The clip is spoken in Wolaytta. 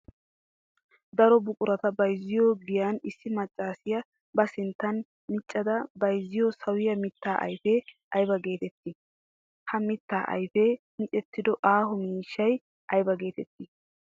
Daro buquratta bayzziyo giyan issi maccasiya ba sinttan miccadda bayzziyo sawiyaa mita ayfe aybba geetetti? Ha mitaa ayfee miicettido aaho miishshay aybba geetetti?